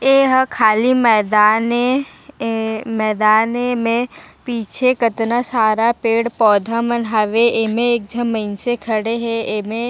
एहा खली मैदान ए ऐ मैदान ए में पीछे कातना सारा पेड़-पौधा मन हवे एमे एक झन मइनसे खड़े हे एमे--